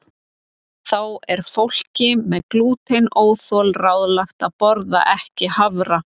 Þá er fólki með glútenóþol ráðlagt að borða ekki hafra.